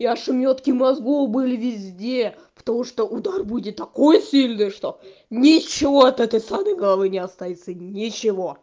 и ошмётки мозгов были везде потому что удар будет такой сильный что ничего от этой самой головы не останется ничего